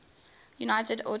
united auto workers